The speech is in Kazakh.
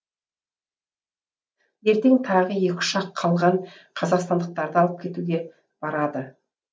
ертең тағы екі ұшақ қалған қазақстандықтарды алып кетуге барады